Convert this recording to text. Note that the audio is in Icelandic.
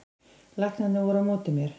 Læknarnir voru á móti mér